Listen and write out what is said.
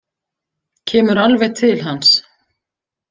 Kemur alveg til hans.